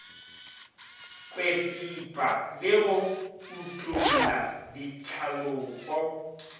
kwepipa le go utolla ditlhalopo